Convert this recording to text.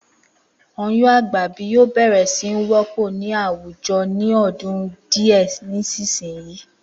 Oyún àgbàbí yóò bè̩rè̩ sí ní wó̩pò̩ ní àwùjo̩ ní ọdún díẹ̀ ṣíṣinyìí